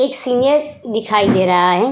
एक सीनियर दिखाई दे रहा है।